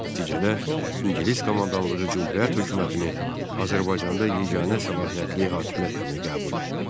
Nəticədə ingilis komandanlığı Cümhuriyyət hökumətini Azərbaycanda yeganə səlahiyyətli hakimiyyət kimi qəbul etdi.